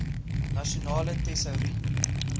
nasionale tesourie